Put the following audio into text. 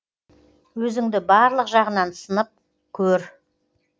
өзіңді барлық жағынан сынып көр